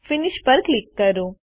finish પર click કરો